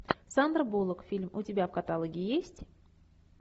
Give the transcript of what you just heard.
сандра буллок фильм у тебя в каталоге есть